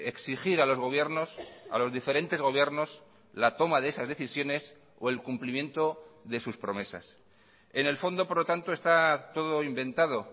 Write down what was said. exigir a los gobiernos a los diferentes gobiernos la toma de esas decisiones o el cumplimiento de sus promesas en el fondo por lo tanto está todo inventado